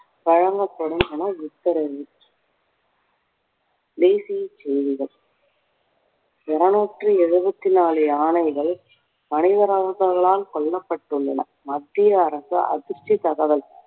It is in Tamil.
வழங்கப்படும் என உத்தரவு தேசிய செய்திகள் இறுநூற்றி எழுவத்தி நாலு யானைகள் மனிதர்களால் கொல்லப்பட்டுள்ளன மத்திய அரசு அதிர்ச்சி தகவல்